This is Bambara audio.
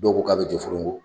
Dɔw ko k'a bɛ Jeforogo